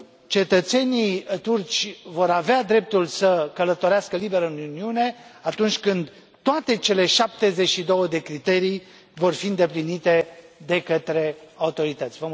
Cetățenii turci vor avea dreptul să călătorească liber în Uniune atunci când toate cele 72 de criterii vor fi îndeplinite de către autorități.